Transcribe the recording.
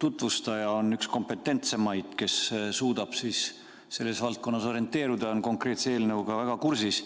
tutvustaja on üks kompetentsemaid, kes suudab selles valdkonnas orienteeruda, on konkreetse eelnõuga väga kursis.